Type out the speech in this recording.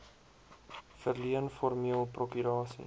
verleen formeel prokurasie